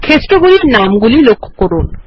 ক্ষেত্রগুলির নামগুলি লক্ষ্য করুন